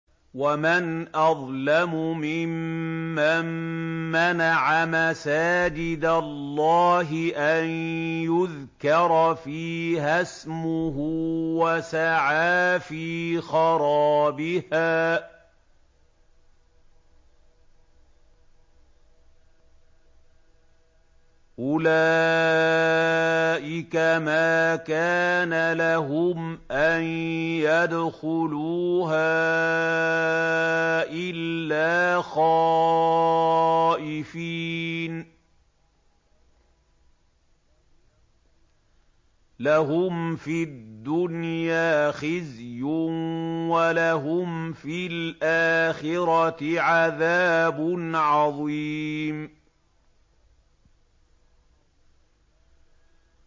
وَمَنْ أَظْلَمُ مِمَّن مَّنَعَ مَسَاجِدَ اللَّهِ أَن يُذْكَرَ فِيهَا اسْمُهُ وَسَعَىٰ فِي خَرَابِهَا ۚ أُولَٰئِكَ مَا كَانَ لَهُمْ أَن يَدْخُلُوهَا إِلَّا خَائِفِينَ ۚ لَهُمْ فِي الدُّنْيَا خِزْيٌ وَلَهُمْ فِي الْآخِرَةِ عَذَابٌ عَظِيمٌ